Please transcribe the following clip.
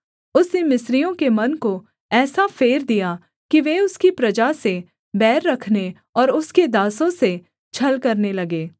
उसने मिस्रियों के मन को ऐसा फेर दिया कि वे उसकी प्रजा से बैर रखने और उसके दासों से छल करने लगे